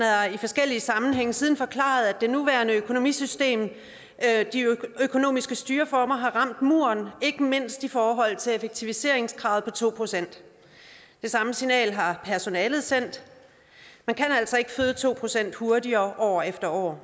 har i forskellige sammenhænge siden forklaret at det nuværende økonomisystem de økonomiske styreformer har ramt muren ikke mindst i forhold til effektiviseringskravet på to procent det samme signal har personalet sendt man kan altså ikke føde to procent hurtigere år efter år